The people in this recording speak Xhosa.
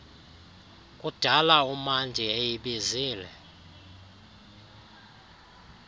kudala umandi eyibizile